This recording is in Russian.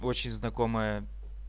вы очень знакомая